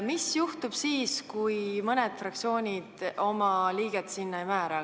Mis juhtub siis, kui mõni fraktsioon sinna oma liiget ei määra?